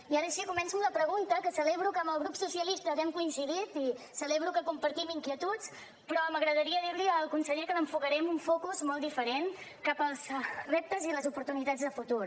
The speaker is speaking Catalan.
i ara sí començo amb la pregunta que celebro que amb el grup socialista hàgim coincidit i celebro que compartim inquietuds però m’agradaria dir li al conseller que l’enfocaré amb un focus molt diferent cap als reptes i les oportunitats de futur